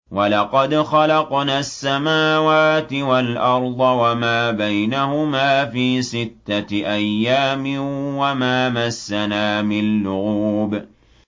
وَلَقَدْ خَلَقْنَا السَّمَاوَاتِ وَالْأَرْضَ وَمَا بَيْنَهُمَا فِي سِتَّةِ أَيَّامٍ وَمَا مَسَّنَا مِن لُّغُوبٍ